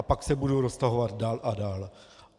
A pak se budou roztahovat dál a dál.